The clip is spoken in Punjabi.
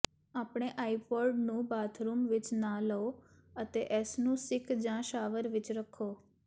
ਆਪਣੇ ਆਈਪੌਡ ਨੂੰ ਬਾਥਰੂਮ ਵਿਚ ਨਾ ਲਓ ਅਤੇ ਇਸ ਨੂੰ ਸਿੱਕ ਜਾਂ ਸ਼ਾਵਰ ਵਿਚ ਰੱਖੋ